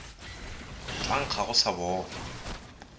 tla nkga go sa bola